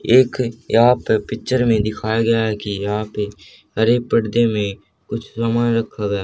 एक यहां पे पिक्चर में दिखाया गया है कि यहां पे हरे पर्दे में कुछ सामान रखा गया --